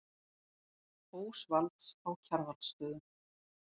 Ósvalds á Kjarvalsstöðum.